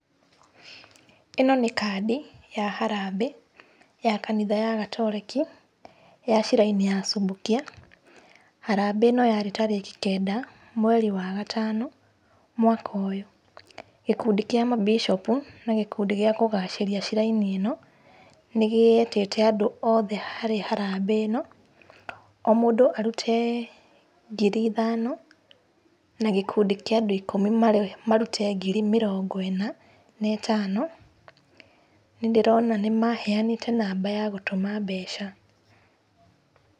ĩno nĩ kandi, ya harambee, ya kanitha ya katoleki, ya shrine ya Subukia. Harambee ĩno yarĩ tarĩki kenda, mweri wa gatano, mwaka ũyũ. Gĩkundi kĩa mabicopu na gĩkundi gĩa kũgacĩria shrine ĩno nĩgietĩte andũ othe harĩ harambee ĩno, o mũndũ arute, ngiri ithano, na gĩkundi kĩa andũ ĩkumi marĩ marute ngiri mĩrongo ĩna na ĩtano. Nĩndĩrona nĩmaheanĩte namba ya gũtũma mbeca.